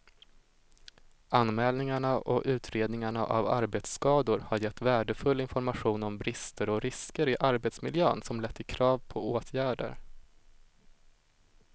Anmälningarna och utredningarna av arbetsskador har gett värdefull information om brister och risker i arbetsmiljön som lett till krav på åtgärder.